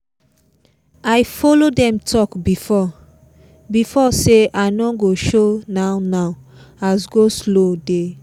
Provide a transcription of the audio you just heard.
i follow dem talk befiore before say i no go show now now as go-slow dey